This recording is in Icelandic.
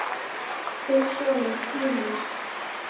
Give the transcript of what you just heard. Þinn sonur Júlíus.